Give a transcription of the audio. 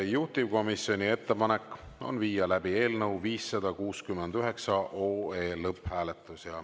Juhtivkomisjoni ettepanek on viia läbi eelnõu 569 lõpphääletus.